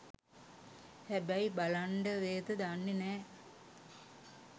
හැබැයි බලන්ඩ වේද දන්නෙ නෑ